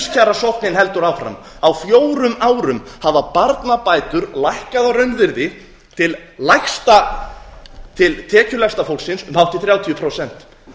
skerðast lífskjarasóknin heldur áfram á fjórum árum hafa barnabætur lækkað að raunvirði til tekjulægsta fólksins um hátt í þrjátíu prósent